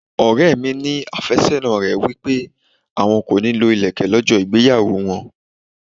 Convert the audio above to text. Ọ̀rẹ́ mi ní afésónà rẹ̀ wí pé àwọn kò ní lọ ilẹ̀kè lọ́jọ́ ìgbéyàwó wọn.